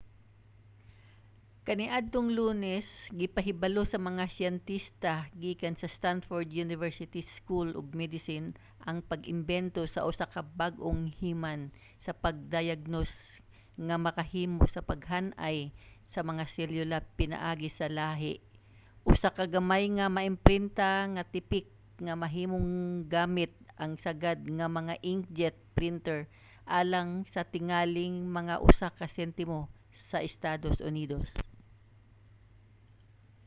kaniadtong lunes gipahibalo sa mga siyentista gikan sa stanford university school of medicine ang pag-imbento sa usa ka bag-ong himan sa pagdayagnos nga makahimo sa paghan-ay sa mga selyula pinaagi sa lahi: usa ka gamay nga maimprinta nga tipik nga mahimong gamit ang sagad nga mga inkjet printer alang sa tingali mga usa ka sentimo sa estados unidos